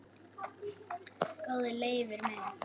Góði Leifur minn,